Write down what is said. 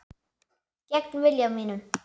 Gegn vilja mínum.